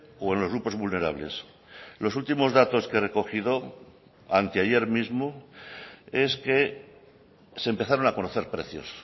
o en los grupos vulnerables los últimos datos que he recogido anteayer mismo es que se empezaron a conocer precios